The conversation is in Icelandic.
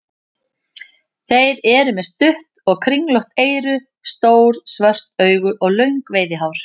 Þeir eru með stutt og kringlótt eyru, stór svört augu og löng veiðihár.